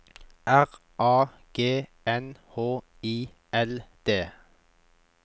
R A G N H I L D